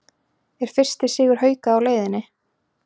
ER FYRSTI SIGUR HAUKA Á LEIÐINNI???